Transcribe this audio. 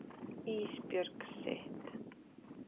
Ísbjörg sitt.